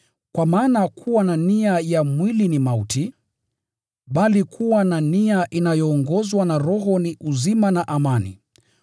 Kwa maana kuwa na nia ya mwili ni mauti, bali kuwa na nia inayoongozwa na Roho ni uzima na amani.